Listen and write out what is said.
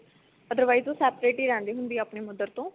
otherwise ਉਹ separate ਹੀ ਰਹਿੰਦੀ ਹੁੰਦੀ ਆ ਆਪਣੀ mother ਤੋਂ